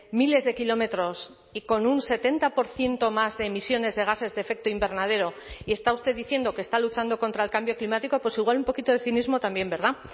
miles de kilómetros y con un setenta por ciento más de emisiones de gases de efecto invernadero y está usted diciendo que está luchando contra el cambio climático pues igual un poquito de cinismo también verdad